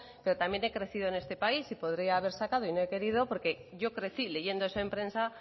pero también he crecido en este país podría haber sacado pero no he querido porque yo crecí leyendo eso en prensa